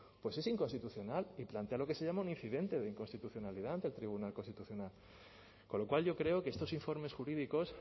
pues es inconstitucional y plantea lo que se llama un incidente de inconstitucionalidad ante el tribunal constitucional con lo cual yo creo que estos informes jurídicos